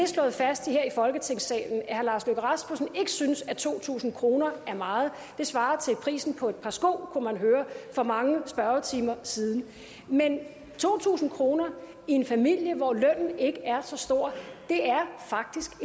slået fast her i folketingssalen at herre lars løkke rasmussen ikke synes at to tusind kroner er meget det svarer til prisen på et par sko kunne man høre for mange spørgetimer siden men to tusind kroner i en familie hvor lønnen ikke er så stor er faktisk